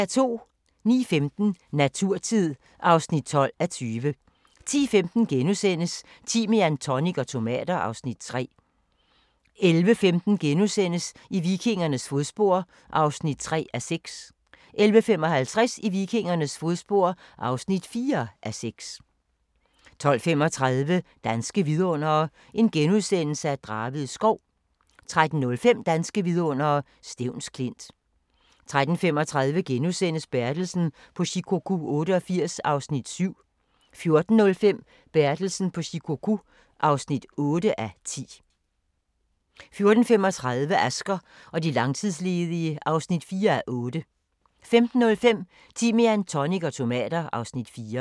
09:15: Naturtid (12:20) 10:15: Timian, tonic og tomater (Afs. 3)* 11:15: I vikingernes fodspor (3:6)* 11:55: I vikingernes fodspor (4:6) 12:35: Danske vidundere: Draved Skov * 13:05: Danske vidundere: Stevns Klint 13:35: Bertelsen på Shikoku 88 (7:10)* 14:05: Bertelsen på Shikoku 88 (8:10) 14:35: Asger og de langtidsledige (4:8) 15:05: Timian, tonic og tomater (Afs. 4)